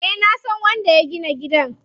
Eh nasan wanda ya gina gidan.